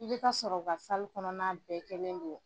I bɛ t'a sɔrɔ o ka kɔnɔna bɛɛ kɛlen don